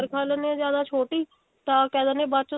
ਰੱਖਾ ਲੇਂਦੇ ਹਾਂ ਜਿਆਦਾ ਛੋਟੀ ਤਾਂ ਕਹਿ ਦਿੰਦੇ ਆ ਬਾਅਦ ਚੋ ਸਾਡਾ